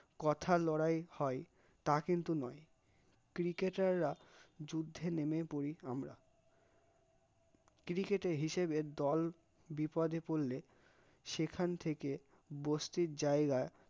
কোথা লড়াই হয় তা কিন্তু নয় cricket টাররা যুদ্ধে নেমে পড়ি আমরা, cricket এর হিসেবে দল বিপদে পড়লে সেখান থেকে বস্তির জায়গা